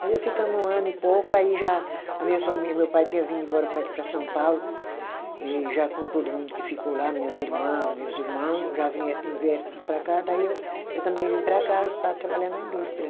Mas nós ficamos um ano e pouco, aí já a minha família, meu pai tinha vindo embora para aqui, para São Paulo, e já com todo mundo que ficou lá, minhas irmã, meus irmão, já vieram vieram tudo para cá, daí eu também vim para cá para trabalhar na indústria.